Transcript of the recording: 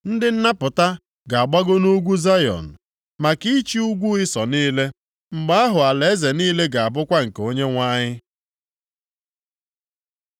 Ndị nnapụta ga-agbago nʼugwu Zayọn maka ịchị ugwu Ịsọ niile. Mgbe ahụ alaeze niile ga-abụkwa nke Onyenwe anyị.